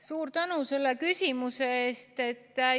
Suur tänu selle küsimuse eest!